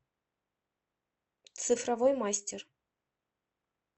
цифровой мастер